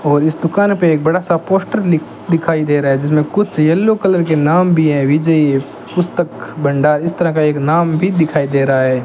और इस दुकान पे एक बड़ा सा पोस्टर ली दिखाई दे रहा है जिसमें कुछ येलो कलर के नाम भी हैं विजय पुस्तक भंडार इस तरह का एक नाम भी दिखाई दे रहा है।